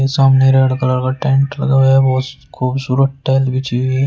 सामने red colour का tent लगाया बहुत खूबसूरत टाइल बिछी हुई--